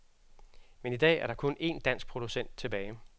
Men i dag er der kun én dansk producent tilbage.